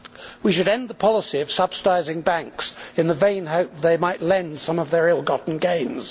We should end the policy of subsidising banks in the vain hope that they might lend some of their ill gotten gains.